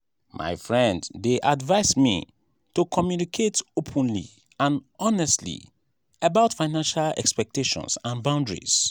my friend dey advise me to communicate openly and honestly about financial expectations and boundaries.